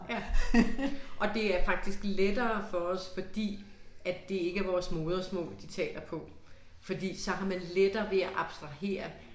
Ja. Og det er faktisk lettere for os fordi at det ikke er vores modersmål de taler på. Fordi så har man lettere ved at abstrahere